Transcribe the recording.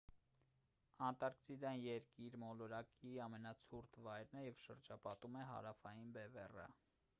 անտարկտիկան երկիր մոլորակի ամենացուրտ վայրն է և շրջապատում է հարավային բևեռը